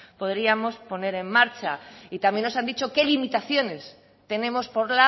podríamos poner en marcha y también nos han dicho qué limitaciones tenemos por